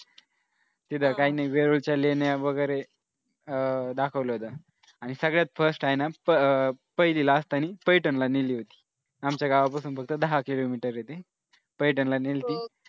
तिथं काही नाही वेरूळच्या लेण्यावगेरे अह दाखवल्या होत्या आणि सगळ्यात first आहे ना पहिलीला असतानी पैठण ला नेली होती. आमच्या गावापासून फक्त दहा किलोमीटर आहे ती पैठणला नेली होती.